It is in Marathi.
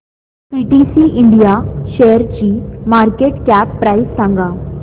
पीटीसी इंडिया शेअरची मार्केट कॅप प्राइस सांगा